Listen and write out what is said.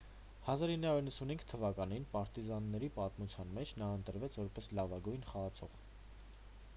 1995 թվականին պարտիզանների պատմության մեջ նա ընտրվեց որպես լավագույն խաղացող